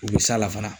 U bɛ s'a la fana